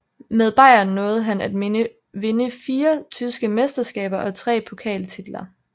Med Bayern nåede han at vinde fire tyske mesterskaber og tre pokaltitler